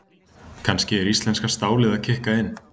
Kannski er íslenska stálið að kikka inn?